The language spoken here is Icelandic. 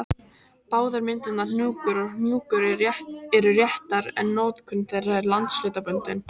Báðar myndirnar hnúkur og hnjúkur eru réttar en notkun þeirra er landshlutabundin.